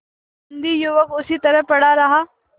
बंदी युवक उसी तरह पड़ा रहा